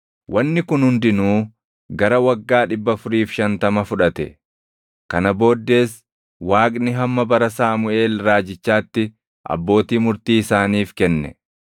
Wanni kun hundinuu gara waggaa 450 fudhatte. “Kana booddees Waaqni hamma bara Saamuʼeel raajichaatti abbootii murtii isaaniif kenne.